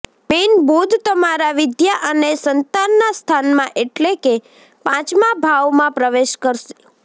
મીનઃ બુધ તમારા વિદ્યા અને સંતાનના સ્થાનમાં એટલે કે પાંચમા ભાવમાં પ્રવેશ કરશે